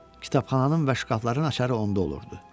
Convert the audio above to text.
Kitabxananın və şkafların açarları onda olurdu.